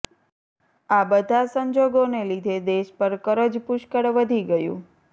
આ બધા સંજોગોને લીધે દેશ પર કરજ પુષ્કળ વધી ગયું